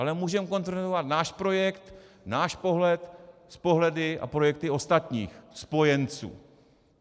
Ale můžeme konfrontovat náš projekt, náš pohled s pohledy a projekty ostatních spojenců.